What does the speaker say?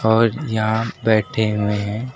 और यहां बैठे हुए हैं।